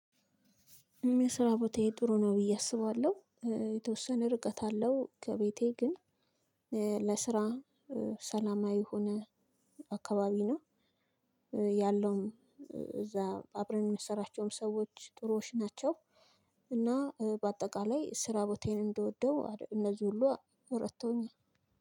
እኔየስራ ቦታዬ ጥሩ ነው ብዬ አስባለሁ። እ የተወሰነ ርቀት አለው ከቤቴ ግን እ ለስራ እ ሰላማዊ የሆነ አካባቢ ነው። ያለውም እዛ አብረን እምንሰራቸውም ሰዎች ጥሩዎች ናቸው። እና እ በአጠቃላይ እ ስራ ቦታዬን እንደወደው አር እነዚህ ሁሉ አ ረድተውኛል።